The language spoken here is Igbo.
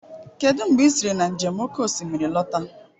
Kedu mgbe i siri na njem oke osimiri lọta